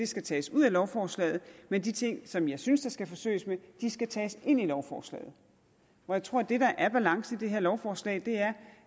skal tages ud af lovforslaget men de ting som jeg synes der skal forsøges med skal tages ind i lovforslaget jeg tror at det der er balancen i det her lovforslag er